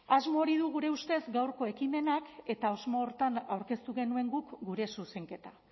asmo hori du gure ustez gaurko ekimenak eta asmo horretan aurkeztu genuen guk gure zuzenketa